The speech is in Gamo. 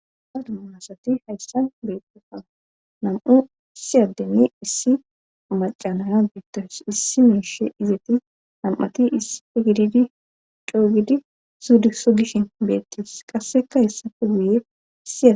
sadumuunasati hayssan beettefana nam7u issi addenni issi macanayan biittos issi miishe izaeti nam7ati gididi coogidi suudiso gishin beettis qasseka hessafe duuyeae